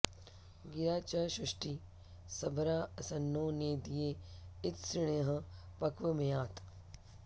गि॒रा च॑ श्रु॒ष्टिः सभ॑रा॒ अस॑न्नो॒ नेदी॑य॒ इत्सृ॒ण्यः॑ प॒क्वमेया॑त्